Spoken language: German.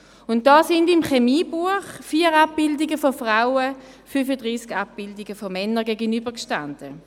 Dabei standen im Chemiebuch 4 Abbildungen von Frauen 35 Abbildungen von Männern gegenüber.